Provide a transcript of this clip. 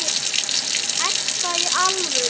Edda, í alvöru.